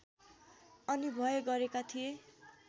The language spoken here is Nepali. अनिभय गरेका थिए